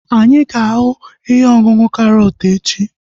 Anyị ga-ahu ihe ọṅụṅụ karọt echi